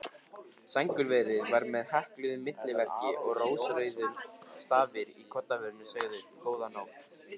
Sængurverið var með hekluðu milliverki og rósrauðir stafirnir í koddaverinu sögðu: Góða nótt.